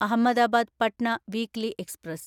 Ahmedabad Patna weekly express